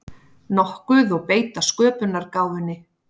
nokkuð og beita sköpunargáfunni.